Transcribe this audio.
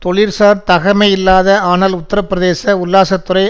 தொழில்சார் தகமையில்லாத ஆனால் உத்தரபிரதேச உல்லாசத்துறை